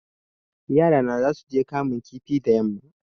Yarana zasuje kamun kifi da yamma